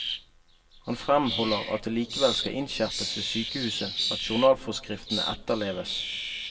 Han fremholder at det likevel skal innskjerpes ved sykehuset at journalforskriftene etterleves.